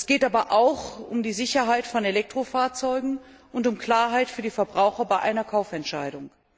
Es geht aber auch um die Sicherheit von Elektrofahrzeugen und um Klarheit für die Verbraucher bei einer Kaufentscheidung.